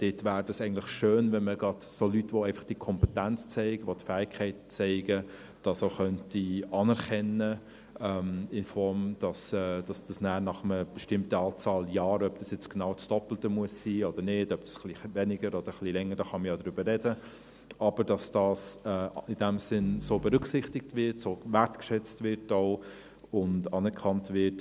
Es wäre eigentlich schön, wenn man gerade Leute, die diese Kompetenz zeigen, diese Fähigkeit zeigen, auch anerkennen könnte, in der Form, dass das nachher nach einer bestimmten Anzahl Jahren – ob das jetzt genau das Doppelte sein muss oder nicht, etwas weniger oder länger, darüber kann man ja sprechen –, in diesem Sinn so berücksichtigt, auch so wertgeschätzt und anerkannt wird.